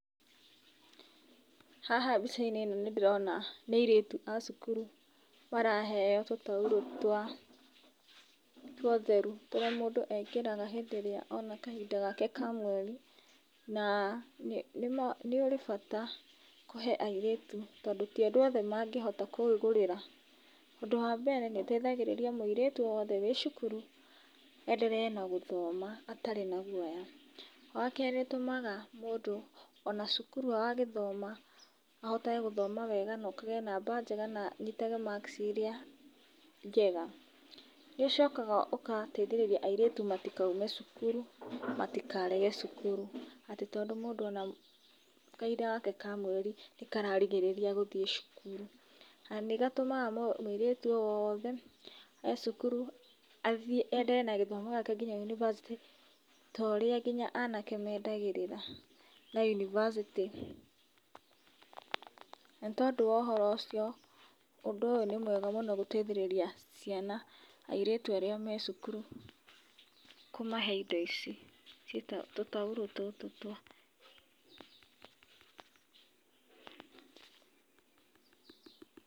Haha mbica-inĩ nĩ ndĩrona nĩ airĩtu a cukuru maraheo tũtaurũ twa utherũ tũrĩa mũndũ ekĩraga rĩrĩa ona kahinda gake ka mweri, na nĩ urĩ bata kũhe airĩtũ tondũ ti andũ othe mangĩhota kwĩgũrĩra ũndũ wa mbere nĩuteithagĩrĩria mũirĩtũ wothe wi cukuru endere na gũthoma atarĩ na gũoya. Wakerĩ nĩutumaga mũndũ ona cukuru agagĩthoma ahotage gũgĩthoma wega na okage namba njega na anitage makci iria njega. Nĩuchokaga ũgateithĩrĩria airĩtu matikaũme cukuru matikarege cukuru atĩ tondũ mũndũ ona kahinda gake ka mweri nĩ kararigĩrĩria gũthĩĩ cukuru, nanigatũmaga muĩrĩtu owothe e cukuru enderee na gĩthomo gĩake nginya univasitĩ to ũrĩa anake mendagĩrĩra na unibacĩtĩ. Na nĩ tondũ wa ũhoro ũcio ũndũ ũyũ nĩ mwega gũteithĩrĩria ciana, airĩtu arĩa me cukuru kũmahe indo ,ici tũtaũrũ tũtũ twa utheru.